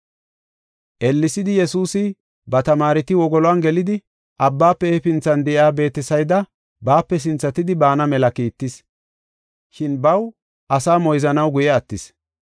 Ellesidi Yesuusi ba tamaareti wogoluwan gelidi, abbaafe hefinthan de7iya Beetesayda baape sinthatidi baana mela kiittis. Shin baw asaa moyzanaw guye attis.